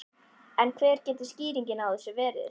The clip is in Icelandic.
En hver getur skýringin á þessu verið?